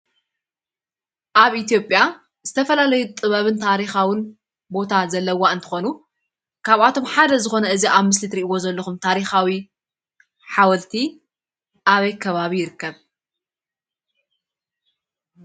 ኣብ ኢትዮጰያ ዝተፈላለየ ጥበብን ታሪካዊን ቦታ ዘለዋ እንትኮኑ ካብ ኣቶም ሓደ ዝኮነ እዚ ኣብ ምስሊ ትርእዎም ዘለኩም ታሪካዊ ሓወልቲ ኣብይ ከባቢ ይርከብ?